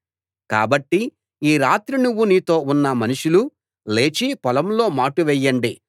కాబట్టి ఈ రాత్రి నువ్వు నీతో ఉన్న మనుషులు లేచి పొలంలో మాటు వెయ్యండి